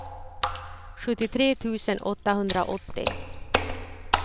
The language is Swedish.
sjuttiotre tusen åttahundraåttio